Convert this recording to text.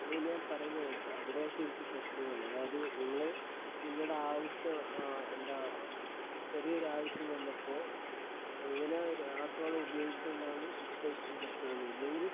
നീ ഞാൻ പറയുന്നെ കേക്ക് അവിടെയാ ശരിക്ക് പ്രശ്നം വന്നേ അതായത് നിങ്ങള് നിങ്ങടെ ആവശ്യം ആ എന്താ ചെറിയൊരാവശ്യം വന്നപ്പോ അങ്ങനെ രാസവളം ഉപയോഗിച്ചതുകൊണ്ടാന്ന് ഇപ്പോ ഇത്രയും പ്രശ്നം വന്നേ ഇല്ലെങ്കില്